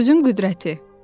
Sözün qüdrəti.